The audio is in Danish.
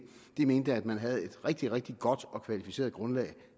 de mente at man havde et rigtig rigtig godt og kvalificeret grundlag